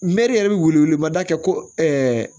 Mɛri yɛrɛ bɛ wele mada kɛ ko